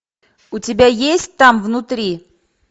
у тебя есть там внутри